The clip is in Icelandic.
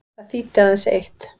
Það þýddi aðeins eitt.